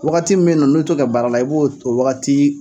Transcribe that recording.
Wagati min be yen nɔ n'u t'o kɛ baara la i b'o t o wagatii